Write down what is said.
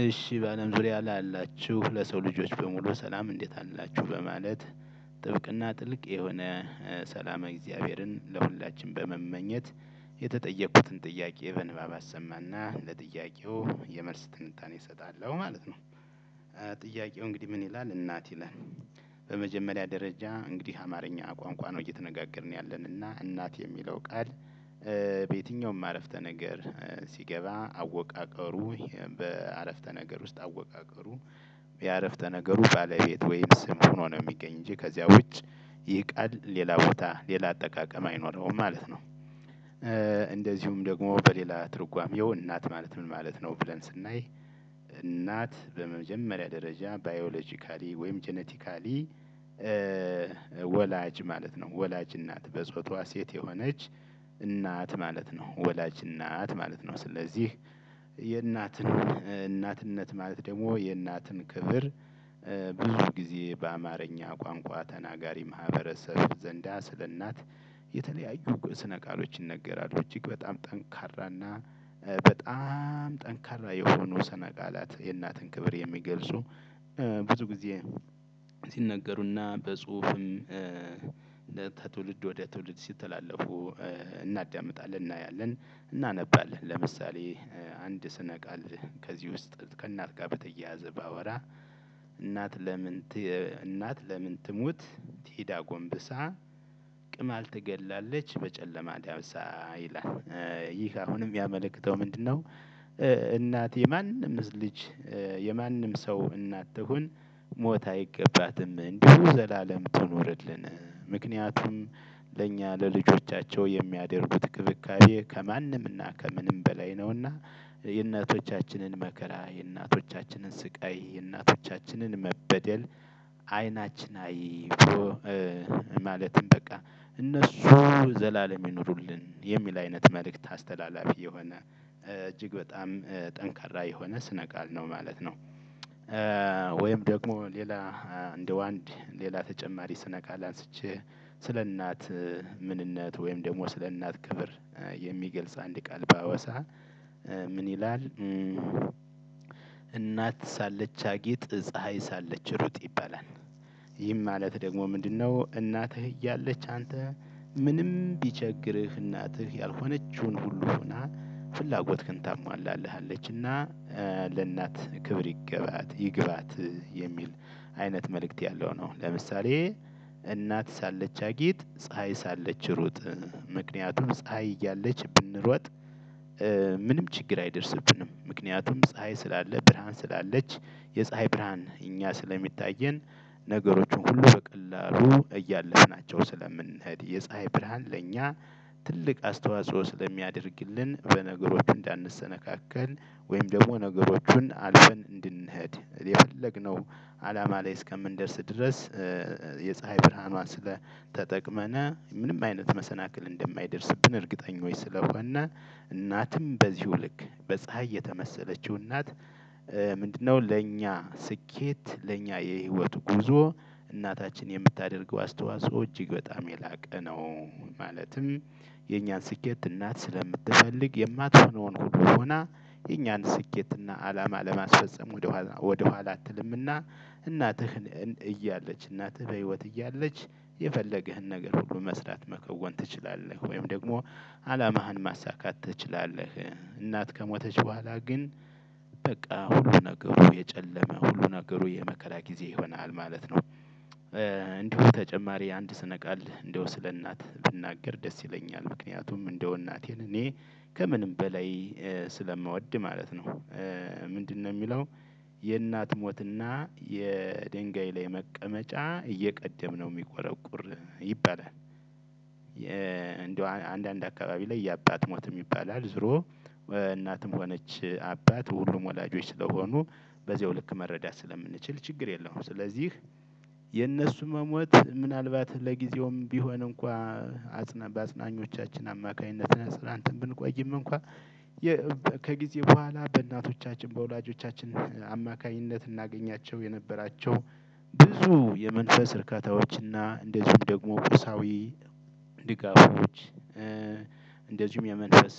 እሺ በአለም ዙሪያ ላላችሁ ለሰው ልጆች በሙሉ ሰላም እንዴት አላችሁ በማለት ጥብቅና ጥልቅ የሆነ ሰላመ እግዚአብሔርን ለሁላችንም በመመኘት የተጠየቅኩትን ጥያቄ በንባብ አሰማና ለጥያቄው የመልስ ትንታኔ እሰጣለሁ ማለት ነው። ጥያቄው እንግዲህ ምን ይላል? እናት ይላል። በመጀመሪያ ደረጃ እንግዲህ አማርኛ ቋንቋ ነው እየተነጋገርን ያለን እና እናት የሚለው ቃል። በየትኛውም አረፍተ ነገር ሲገባ አወቃቀሩ የበአረፍተ ነገር ውስጥ አወቃቀሩ የአረፍተ ነገሩ ባለቤት ወይም ስም ሆኖ ነው የሚገኝ እንጂ ከዚያ ውጭ። ይህ ቃል ሌላ ቦታ ሌላ አጠቃቀም አይኖረውም ማለት ነው። እንደዚሁም ደግሞ በሌላ ትርጓሜው እናት ማለት ምን ማለት ነው ብለን ስናይ። እናት በመጀመሪያ ደረጃ ባዮሎጂካሊ ወይም ጄኔቲካሊ። ወላጅ ማለት ነው ወላጅ እናት በጾታዋ ሴት የሆነች እናት ማለት ነው ወላጅ እናት ማለት ነው ስለዚህ። የእናትን እናትነት ማለት ደግሞ የእናትን ክብር። ብዙ ጊዜ በአማርኛ ቋንቋ ተናጋሪ ማህበረሰብ ዘንዳ ስለእናት የተለያዩ ስነ ቃሎች ይነገራሉ። እጅግ በጣም ጠንካራና በጣም ጠንካራ የሆነው ስነ ቃላት የእናትን ክብር የሚገልጹ። ብዙ ጊዜ ሲነገሩና በጽሁፍም ከትውልድ ወደ ትውልድ ሲተላለፉ። እናዳምጣለን እናያለን እናነባለን። ለምሳሌ አንድ ስነ ቃል ከዚህ ውስጥ ከእናት ጋር በተያያዘ ባወራ። እናት እናት ለምን ትሙት ትሂድ አጎንብሳ ቅማል ትገላለች በጨለማ ዳብሳ ይህ አሁን ሚያመለክተው ምንድነው? እናት የማንም ልጅ የማንም ሰው እናት ትሁን ሞት አይገባትም እንዲሁ ዘላለም ትኑርልን። ምክንያቱም ለእኛ ለልጆቻቸው የሚያደርጉት ክብካቤ ከማንም እና ከምንም በላይ ነውና። የእናቶቻችንን መከራ የእናቶቻችንን ስቃይ የእናቶቻችንን መበደል አይናችን አይቶ። ማለትም በቃ እነሱ ዘላለም ይኖሩልን የሚል አይነት መልእክት አስተላላፊ የሆነ እጅግ በጣም ጠንካራ የሆነ ስነ ቃል ነው ማለት ነው። ወይም ደግሞ ሌላ እንደው አንድ ሌላ ተጨማሪ ስነቃል አንስቼ ስለእናት ምንነት ወይም ደግሞ ስለ እናት ክብር የሚገልጽ አንድ ቃል ባወሳ ምን ይላል? እናት ሳለች አጊጥ ፀሀይ ሳለች ሩጥ ይባላል። ይህም ማለት ደግሞ ምንድነው? እናትህ እያለች አንተ ምንም ቢቸግርህ እናትህ ያልሆነችውን ሁሉ ሆና ፍላጎትክን ታሟላለሀችና። ለእናት ክብር ይገባት ይግባት የሚል አይነት መልእክት ያለው ነው። ለምሳሌ እናት ሳለች አጊት ፀሀይ ሳለች ሩጥ። ምክንያቱም ፀሀይ እያለች ብንሮጥ ምንም ችግር አይደርስብንም ምክንያቱም ፀሀይ ስላለ ብርሃን ስላለች የፀሀይ ብርሃን እኛ ስለሚታየን። ነገሮችን ሁሉ በቀላሉ እያለፍናቸው ስለምንሄድ የፀሀይ ብርሃን ለኛ ትልቅ አስተዋጽኦ ስለሚያደርግልን። በነገሮች እንዳንሰነካከል ወይም ደግሞ ነገሮቹን አልፈን እንድንሄድ የፈለግነው አላማ ላይ እስከምንደርስ ድረስ። የፀሀይ ብርሃኗን ስለተጠቅመና ምንም አይነት መሰናክል እንደማይደርስብን እርግጠኛች ስለሆነ። እናትም በዚሁ ልክ በፀሀይ የተመሰለችው እናት። ምንድነው ለእኛ ስኬት ለእኛ የህይወቱ ጉዞ እናታችን የምታደርገው አስተዋጽኦ እጅግ በጣም የላቀ ነው። ማለትም የኛን ስኬት እናት ስለምትፈልግ የማትሆነዉን ሁሉ ሆና የኛን ስኬት እና አላማ ለማስፈፀም ወደኋላ ወደኋላ አትልምና። እናትህን እያለች እናትህ በህይወት እያለች የፈለገህን ነገር ሁሉ መስራት መከወን ትችላለህ ወይም ደግሞ አላማህን ማሳካት ትችላለህ። እናት ከሞተች በኋላ ግን በቃ ሁሉ ነገሩ የጨለመ ሁሉ ነገሩ የመከራ ጊዜ ይሆናል ማለት ነው። እንዲሁ ተጨማሪ አንድ ስነ ቃል እንደው ስለ እናት ብናገር ደስ ይለኛል ምክንያቱም እንደው እናቴን እኔ ከምንም በላይ ስለምወድ ማለት ነው። ምንድነው የሚለው? የእናት ሞትና የድንጋይ ላይ መቀመጫ እየቀደምነው የሚቆረቁር ይባላል። እንደው አንዳንድ አካባቢ ላይ የአባት ሞትም ይባላል ዝሮ። እናትም ሆነች አባት ሁሉም ወላጆች ስለሆኑ በዚያው ልክ መረዳት ስለምንችል ችግር የለውም። ስለዚህ የነሱ መሞት ምናልባት ለጊዜውም ቢሆን እንኳ አጽነ በአጽኖኞቻችን አማካኝነት ተጽናንተን ብንቆይም እንኳን ከጊዜ በኋላ በእናቶቻችን በወላጆቻችን አማካኝነት እናገኛቸው የነበራቸው ብዙ የመንፈስ እርካታዎችና እንደዚሁም ደግሞ ቁሳዊ ድጋፎች እንደዚሁም የመንፈስ